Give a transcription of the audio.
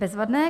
Bezvadné.